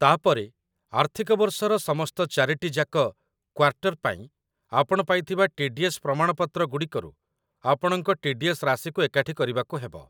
ତା'ପରେ, ଆର୍ଥିକ ବର୍ଷର ସମସ୍ତ ୪ଟି ଯାକ କ୍ୱାର୍ଟର ପାଇଁ ଆପଣ ପାଇଥିବା ଟି.ଡି.ଏସ୍‌. ପ୍ରମାଣପତ୍ର ଗୁଡ଼ିକରୁ ଆପଣଙ୍କ ଟି.ଡି.ଏସ୍‌. ରାଶିକୁ ଏକାଠି କରିବାକୁ ହେବ।